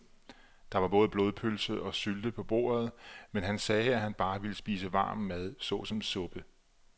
Der var både blodpølse og sylte på bordet, men han sagde, at han bare ville spise varm mad såsom suppe.